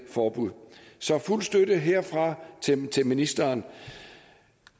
forbud så fuld støtte herfra til til ministeren